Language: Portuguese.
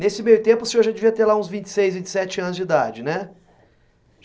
Nesse meio tempo, o senhor já devia ter lá uns vinte e seis, vinte e sete anos de idade, né?